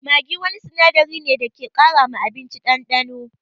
Maggi wani sinadari ne wanda ke ƙara ma abinci ɗanɗano.